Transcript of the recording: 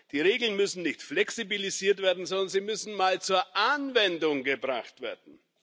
Die Regeln müssen nicht flexibilisiert werden, sondern sie müssen mal zur Anwendung gebracht werden!